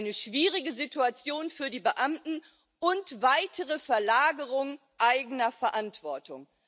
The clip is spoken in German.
Eine schwierige Situation für die Beamten und eine weitere Verlagerung eigener Verantwortung.